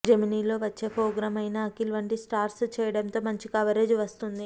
Gemini లో వచ్చే programme అయినా అఖిల్ వంటి స్టార్స్ చేయటంతో మంచి కవరేజ్ వస్తోంది